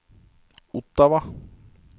Ottawa